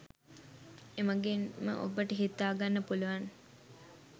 එමගින්ම ඔබට හිතා ගන්න පුළුවන්